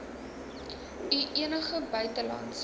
u enige buitelandse